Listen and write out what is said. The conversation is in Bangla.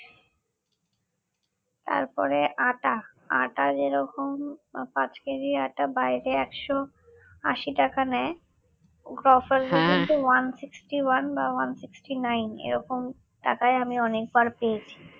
তারপরে আটা আটা যেরকম পাঁচ KG আটা বাহিরে একশ আশি টাকা নেয় গ্রফার্সের ক্ষেত্রে one sixty one বা one sixty nine এরকম টাকায় আমি অনেকবার পেয়েছি